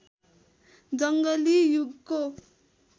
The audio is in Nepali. जङ्गली युगको